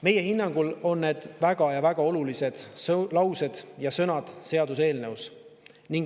" Meie hinnangul on need väga olulised laused seaduseelnõus.